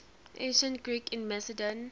ancient greeks in macedon